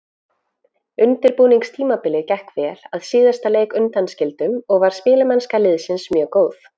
Undirbúningstímabilið gekk vel, að síðasta leik undanskildum, og var spilamennska liðsins mjög góð.